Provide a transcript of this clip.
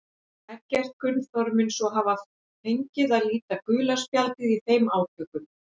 Eggert Gunnþór mun svo hafa fengið að líta gula spjaldið í þeim átökum.